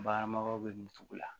Baganmaraw bɛ min cogo la